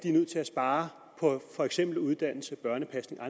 er nødt til at spare på for eksempel uddannelse børnepasning og